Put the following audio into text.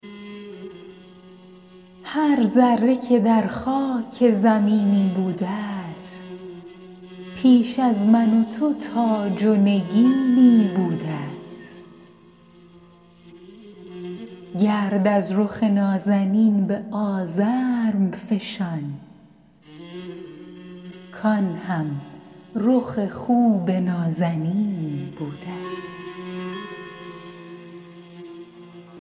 هر ذره که در خاک زمینی بوده ست پیش از من و تو تاج و نگینی بوده ست گرد از رخ نازنین به آزرم فشان کآن هم رخ خوب نازنینی بوده ست